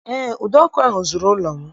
Eé, ụdọ ọkụ ahụ zuru ụlọ m